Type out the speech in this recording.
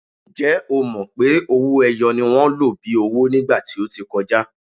Ǹjẹ́ o mọ̀ pé owó-ẹyọ ni wọ́n lò bíi owó ní ìgbà tí ó ti kọjá?